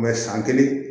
san kelen